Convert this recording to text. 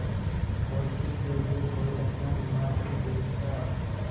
दोस्ती के लिए कोई अपना ईमान नहीं बेचता